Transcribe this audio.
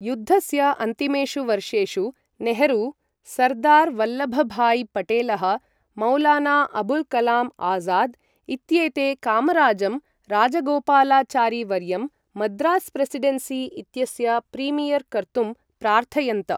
युद्धस्य अन्तिमेषु वर्षेषु नेहरू, सर्दार् वल्लभ भाई पटेलः, मौलाना अबुल् कलाम् आज़ाद् इत्येते कामराजं, राजागोपालाचारी वर्यं मद्रास् प्रेसिडन्सी इत्यस्य प्रीमियर् कर्तुं प्रार्थयन्त।